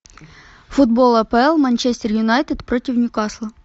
футбол апл манчестер юнайтед против ньюкасла